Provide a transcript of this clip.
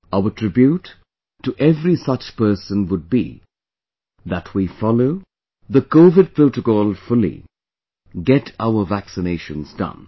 Our tribute to every such person would be that we follow the covid protocol fully, get our vaccinations done